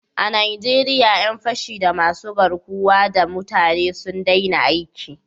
A Najeriya 'yan fashi da masu garkuwa da mutane sun daina aiki